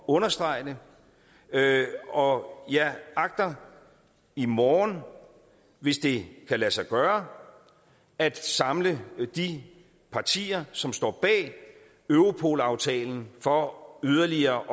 understrege det og jeg agter i morgen hvis det kan lade sig gøre at samle de partier som står bag europol aftalen for yderligere